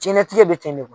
Jɛnatigɛ be ten de